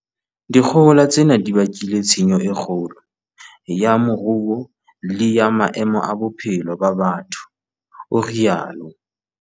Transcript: "Dikgohola tsena di bakile tshenyo e kgolo ya moruo le ya maemo a bophelo ba batho," o rialo.